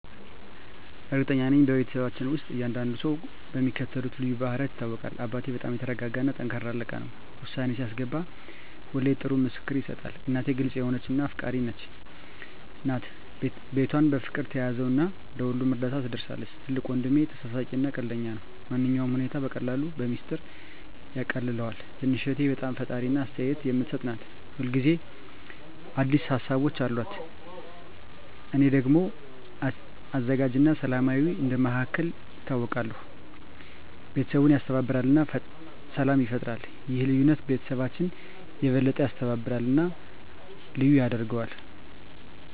እርግጠኛ ነኝ፤ በቤተሰባችን ውስጥ እያንዳንዱ ሰው በሚከተሉት ልዩ ባህሪያት ይታወቃል - አባቴ በጣም የተረጋጋ እና ጠንካራ አለቃ ነው። ውሳኔ ሲያስገባ ሁሌ ጥሩ ምክር ይሰጣል። እናቴ ግልጽ የሆነች እና አፍቃሪች ናት። ቤቷን በፍቅር ትያዘው እና ለሁሉም እርዳታ ትደርሳለች። ትልቁ ወንድሜ ተሳሳቂ እና ቀልደኛ ነው። ማንኛውንም ሁኔታ በቀላሉ በሚስጥር ያቃልለዋል። ትንሽ እህቴ በጣም ፈጣሪ እና አስተያየት የምትሰጥ ናት። ሁል ጊዜ አዲስ ሀሳቦች አሉት። እኔ ደግሞ አዘጋጅ እና ሰላማዊ እንደ መሃከል ይታወቃለሁ። ቤተሰቡን ያስተባብራል እና ሰላም ይፈጥራል። ይህ ልዩነት ቤተሰባችንን የበለጠ ያስተባብራል እና ልዩ ያደርገዋል።